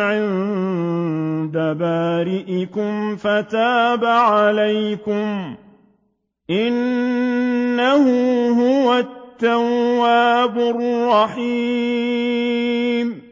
عِندَ بَارِئِكُمْ فَتَابَ عَلَيْكُمْ ۚ إِنَّهُ هُوَ التَّوَّابُ الرَّحِيمُ